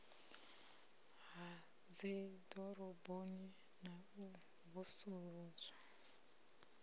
ha dziḓoroboni na u vusuludzwa